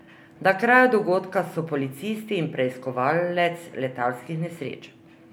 Na kraju dogodka so policisti in preiskovalec letalskih nesreč.